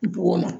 Bɔgɔ